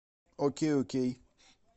окей окей